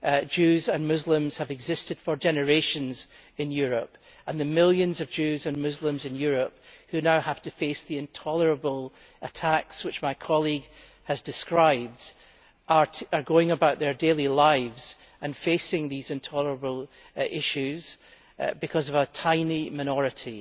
Jews and Muslims have existed for generations in Europe and the millions of Jews and Muslims in Europe, who now have to face the intolerable attacks which my colleague has described, are going about their daily lives and facing these issues because of a tiny minority.